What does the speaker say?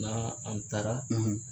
Na an taara